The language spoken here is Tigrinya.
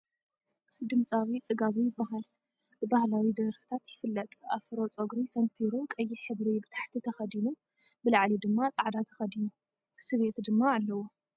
ድምፃዊ ፅጋቡ ይባሃል ብባህላዊ ደርፍታት ይፍለጥ ኣፍሮ ፀጉሪ ሰንቲሩ ቀይሕ ሕብሪ ብታሕቲ ተከዲኑ ብላዕሊ ድማ ፃዕዳ ተከዲኑ። ስብየት ድማ አለዎ ።